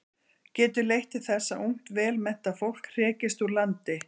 Getur leitt til þess að ungt vel menntað fólk hrekist úr landi.